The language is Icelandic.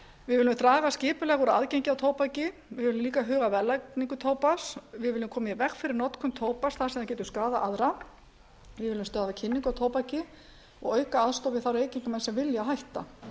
við viljum draga skipulega úr aðgengi á tóbaki við viljum líka huga að verðlagningu tóbaks við viljum koma í veg fyrir notkun tóbaks þar sem það getur skaðað aðra við viljum stöðva kynningu á tóbaki og auka aðstoð við þá reykingamenn sem vilja hætta